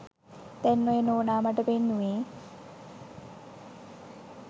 දැන් ඔය නෝනා මට පෙන්නුවේ